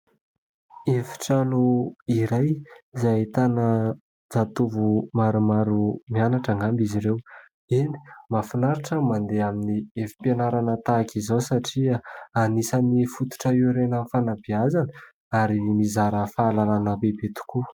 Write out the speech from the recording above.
Efitrano iray izay ahitana zatovo maromaro mianatra angamba izy ireo. Eny! Mahafinaritra mandeha amin'ny efim-pianarana tahaka izao satria anisan'ny fototra hiorenan'ny fanabeazana ary mizara fahalalana bebe kokoa.